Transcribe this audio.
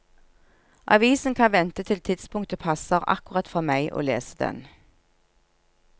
Avisen kan vente til tidspunktet passer akkurat for meg å lese den.